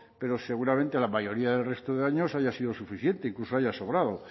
pero seguramente la mayoría del resto de años haya sido suficiente incluso haya sobrado